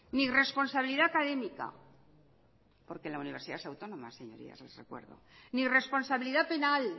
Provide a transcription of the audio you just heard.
ni responsabilidad académica porque la universidad es autónoma señoría si se acuerda ni responsabilidad penal